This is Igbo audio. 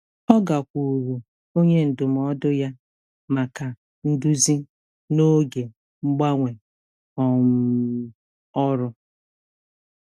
Ọ gakwuuru onye ndụmọdụ ya maka nduzi n'oge mgbanwe um ọrụ.